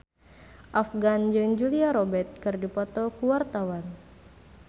Afgan jeung Julia Robert keur dipoto ku wartawan